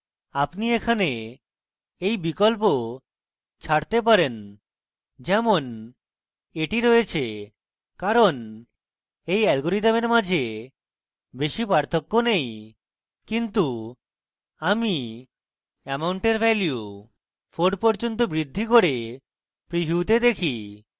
আপনি এখানে you বিকল্প ছাড়তে পারেন যেমন এটি রয়েছে কারণ you আলগোরিদমের মাঝে বেশী পার্থক্য নেই কিন্তু আমি amount এর value 4 পর্যন্ত বৃদ্ধি করে প্রিভিউতে দেখি